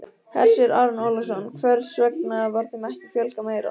Hersir Aron Ólafsson: Hvers vegna var þeim ekki fjölgað meira?